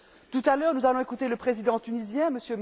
Tout à l'heure, nous allons écouter le président tunisien, M.